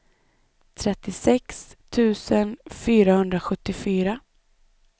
trettiosex tusen fyrahundrasjuttiofyra